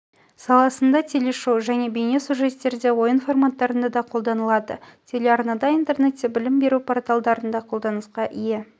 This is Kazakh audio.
саласында телешоу және бейне сюжеттерде ойын форматтарында да қолданылады телеарнада интернетте білім беру порталдарында қолданысқа ие